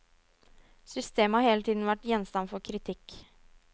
Systemet har hele tiden vært gjenstand for kritikk.